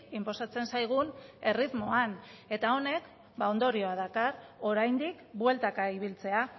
inposatzen zaigun erritmoan eta honek ondorioa dakar oraindik bueltaka ibiltzea